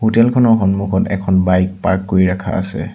Hotel খনৰ সন্মুখত এখন বাইক পাৰ্ক কৰি ৰাখা আছে।